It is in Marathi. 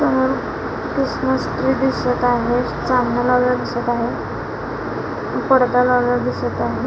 अ ख्रिसमस ट्रि दिसत आहे चांदण्या लावलेल्या दिसत आहे पडदा लावलेला दिसत आहे.